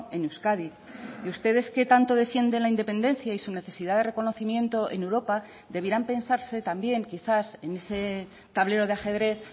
en euskadi y ustedes que tanto defienden la independencia y su necesidad de reconocimiento en europa debieran pensarse también quizás en ese tablero de ajedrez